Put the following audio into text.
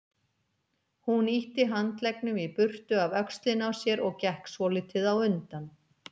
Hún ýtti handleggnum í burtu af öxlinni á sér og gekk svolítið á undan.